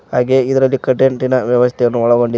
ಹಾಗೆ ಇದರಲ್ಲಿ ಕಂಟೆಂಟ್ ಇನ ವ್ಯವಸ್ಥೆ ಅನ್ನು ಒಳಗೊಂಡಿ--